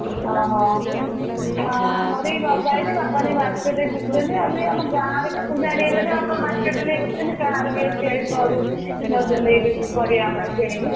ଓହୋ ହଁ ଆମର ବି ଲଗା ହେଇଛି ବାପା ନେଇକି market ରେ ବିକୁଛନ୍ତି ଆଉ ବି ଆମ ଗାଁ ରେ ବି ସବୁ ଜାଣି ଗଲେଣି ନା ବାପା market ରେ ନେଇକି ବିକୁଛନ୍ତି ଗାଁ ରେ ବି ଘରୁ ନଉଛନ୍ତି ଏଇଠି ପରିବା ଆମର କିଣିକି।